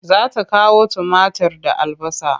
Za ta kawo tumatir da albasa.